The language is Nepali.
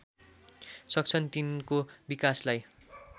सक्छन् तिनको विकासलाई